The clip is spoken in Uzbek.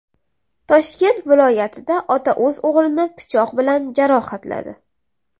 Toshkent viloyatida ota o‘z o‘g‘lini pichoq bilan jarohatladi.